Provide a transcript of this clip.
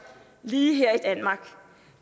lige her